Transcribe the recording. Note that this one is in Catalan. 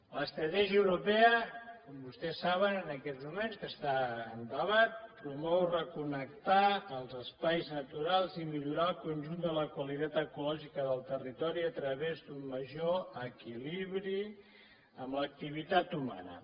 l’estratègia europea com vostès saben en aquests moments que està en debat promou reconnectar els espais naturals i millorar el conjunt de la qualitat ecològica del territori a través d’un major equilibri amb l’activitat humana